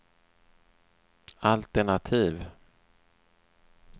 altenativ